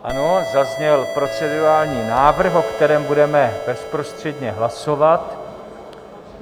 Ano, zazněl procedurální návrh, o kterém budeme bezprostředně hlasovat.